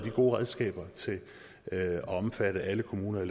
gode redskaber til at omfatte alle kommuner